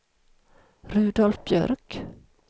Rudolf Björk